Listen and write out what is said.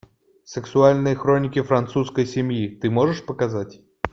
сексуальные хроники французской семьи ты можешь показать